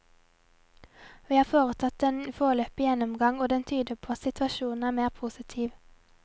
Vi har hatt en foreløpig gjennomgang, og den tyder på at situasjonen er mer positiv.